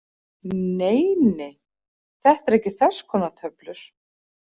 Nei, nei, Þetta eru ekki þess konar töflur.